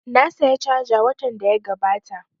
Na saya caja watan da ya gabata